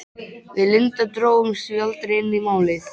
Við Linda drógumst því aldrei inn í Málið.